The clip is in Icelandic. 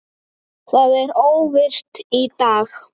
Það er óvirkt í dag.